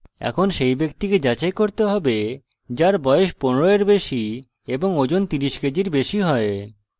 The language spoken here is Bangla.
এখন সেই ব্যক্তিকে যাচাই করতে হবে যার বয়স 15 এর বেশি এবং ওজন 30 কেজির বেশি হয়